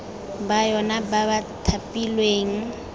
ba yona ba ba thapilweng